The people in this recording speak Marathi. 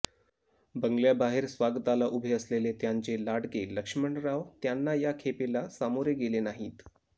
बंगल्याबाहेर स्वागताला उभे असलेले त्यांचे लाडके लक्ष्मणराव त्यांना या खेपेला सामोरे गेले नाहीत